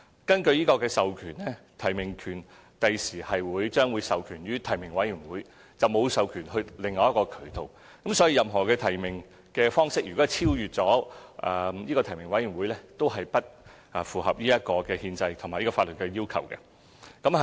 根據授權，提名權將來會授權予提名委員會，而並沒有授權予其他渠道，所以任何提名方式如超越提名委員會，都是不符合憲制及法律要求。